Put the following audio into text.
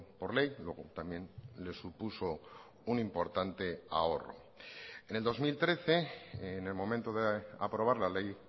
por ley luego también les supuso un importante ahorro en el dos mil trece en el momento de aprobar la ley